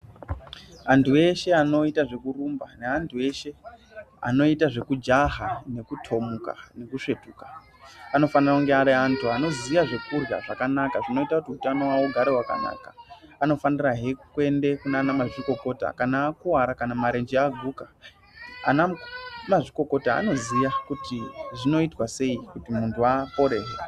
Antu veshe vanoita zvekurumba ne antu eshe anoita zvekujaha nekutomuka nekusvetuka anofana kunge ari antu anoziye zvekurya zvakanaka zvinoita kuti utano wavo ugare wakanaka anofanirahe kuende kunana mazvikokota kana akuwara kana marenje aguka anamazvikokota anoziya kuti zvinoitwa sei kuti muntu apore.